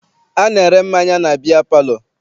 A na-ere mmanya na biya palọ.